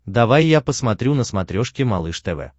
давай я посмотрю на смотрешке малыш тв